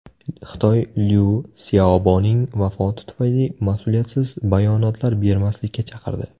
Xitoy Lyu Syaoboning vafoti tufayli mas’uliyatsiz bayonotlar bermaslikka chaqirdi.